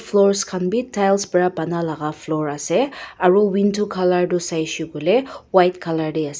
floors khan bi tiles pra banai laka floor ase aro window colour tu saishey koilae white colour tae ase.